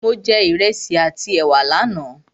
Mo jẹ Ìrẹsi àti ẹ̀wà lánà